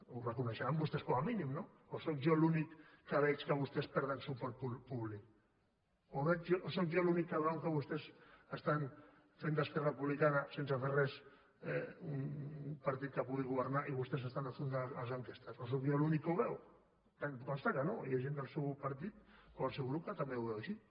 ho reconeixeran vostès com a mínim o sóc jo l’únic que veig que vostès perden suport públic o sóc jo l’únic que veu que vostès estan fent d’esquerra republicana sense fer res un partit que pugui governar i vostès s’estan enfonsant a les enquestes o sóc jo l’únic que ho veu em consta que no hi ha gent del seu partit o del seu grup que també ho veu així